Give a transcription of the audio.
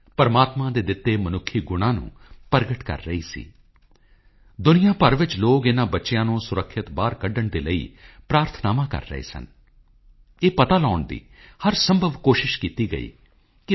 ਕਲਾਮ ਸਾਹਿਬ ਦੀ ਇਹ ਕਵਿਤਾ ਸ਼੍ਰੀ ਸ਼੍ਰੀ ਸ਼੍ਰੀ ਸ਼ਿਵ ਕੁਮਾਰ ਸਵਾਮੀ ਜੀ ਦੇ ਜੀਵਨ ਅਤੇ ਸਿੱਧਗੰਗਾ ਮੱਠ ਦੇ ਮਿਸ਼ਨ ਨੂੰ ਸੋਹਣੇ ਢੰਗ ਨਾਲ ਪੇਸ਼ ਕਰਦੀ ਹੈ ਇੱਕ ਵਾਰ ਫਿਰ ਮੈਂ ਅਜਿਹੇ ਮਹਾਪੁਰਖ ਨੂੰ ਆਪਣੀ ਸ਼ਰਧਾਸੁਮਨ ਭੇਟ ਕਰਦਾ ਹਾਂ